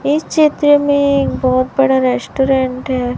इस चित्र में एक बहोत बड़ा रेस्टोरेंट है।